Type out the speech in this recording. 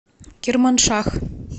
керманшах